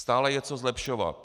Stále je co zlepšovat.